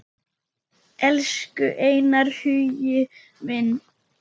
Elsku Einar Hugi minn.